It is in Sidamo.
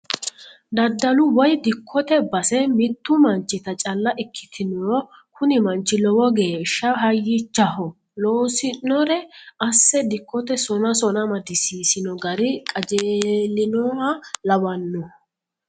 Daddalu woyi dikkote base mitu manchitta calla ikkitinoro kuni manchi lowo geeshsha hayyichaho loosinore asse dikkote sona sona amadisiisino gari qajeelinoha lawanoho.